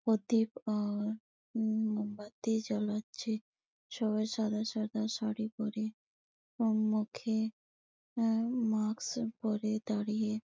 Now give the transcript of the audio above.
প্রদীপ আর উম মোমবাতি জ্বালাচ্ছে সবাই সাদা সাদা শাড়ি পরে উমমম মুখে উমমম এ মাস্ক পরে দাঁড়িয়ে --